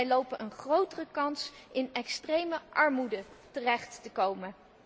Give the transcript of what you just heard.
Zij lopen een grotere kans in extreme armoede terecht te komen.